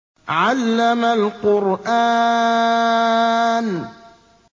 عَلَّمَ الْقُرْآنَ